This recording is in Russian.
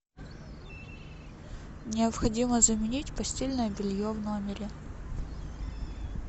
необходимо заменить постельное белье в номере